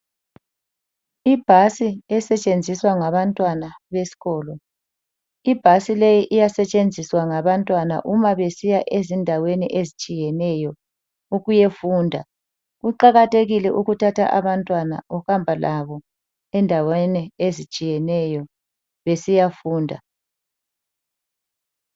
Ibhasi esetshenziswa ngabantwana besikolo. Ibhasi le iyasetshenziswa ngabantwana uma besiya ezindaweni ezitshiyeneyo ukuyefunda. Kuqakathekile ukuthatha abantwana uhamba labo endaweni ezitshiyeneyo besiyafunda.